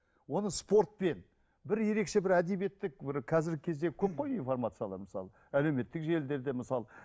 оны спортпен бір ерекшке бір әдебиеттік бір қазіргі кезде көп қой информациялар мысалы әлеуметтік желілерде мысалы